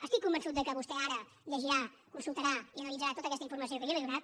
estic convençut que vostè ara llegirà consultarà i analitzarà tota aquesta informació que jo li he donat